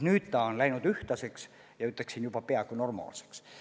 Nüüd on tase läinud ühtlaseks ja ütleksin, juba peaaegu normaalseks.